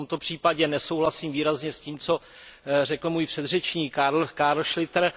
V tomto případě nesouhlasím výrazně s tím, co řekl můj předřečník Carl Schlyter.